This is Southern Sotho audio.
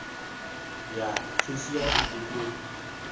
ya cashier e be o